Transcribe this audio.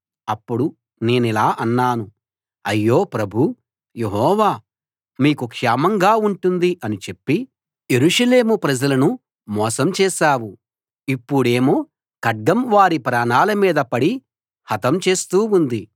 అప్పుడు నేనిలా అన్నాను అయ్యో ప్రభూ యెహోవా మీకు క్షేమంగా ఉంటుంది అని చెప్పి యెరూషలేము ప్రజలను మోసం చేశావు ఇప్పుడేమో ఖడ్గం వారి ప్రాణాల మీద పడి హతం చేస్తూ ఉంది